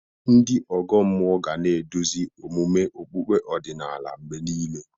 Ndị ọgọ mmụọ ga na-eduzi omume okpukpe ọdịnala mgbe niile.